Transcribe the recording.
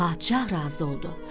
Padşah razı oldu.